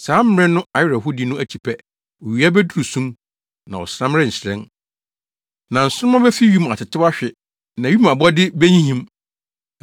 “Saa mmere no awerɛhowdi no akyi pɛ “ ‘owia beduru sum, na ɔsram renhyerɛn; na nsoromma befi wim atetew ahwe, na wim abɔde behinhim.’